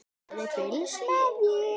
Það er fylgst með mér.